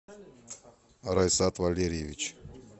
раисат валерьевич